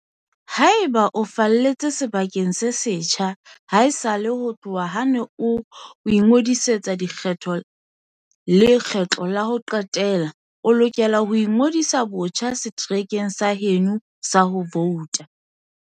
Haeba o falletse sebakeng se setjha haesale ho tloha ha o ne o ingodisetsa dikgetho lekgetlo la ho qetela, o lokela ho ingodisa botjha seterekeng sa heno sa ho vouta.